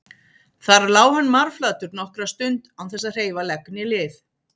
Þar lá hann marflatur nokkra stund án þess að hreyfa legg né lið.